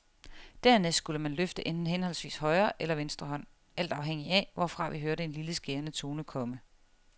Dernæst skulle man løfte henholdsvis højre eller venstre hånd alt afhængig af, hvorfra vi hørte en lille skærende tone komme.